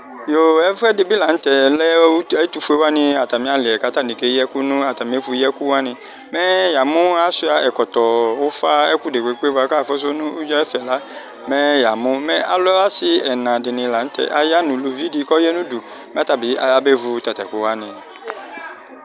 Yoo! Ɛfʋɛdɩ bɩ la nʋ tɛ Mɛ ɛtʋfue wani atami ali yɛ kʋ ayani keyi ɛkʋ nʋ atami ɛfʋyiɛkʋ wani Mɛ yamu asʋia ɛkɔtɔ, ufa, ɛkʋ dekpekpe bʋakʋ afusu nʋ udza ayʋ ɛsɛ la mɛ yamu Mɛ alɛ asi ɛna dini la nʋ tɛ aya nʋ uluvi di, kʋ ɔya nʋ udu Mɛ ɔta bɩ ɔyabevu atatu ɛkʋ wani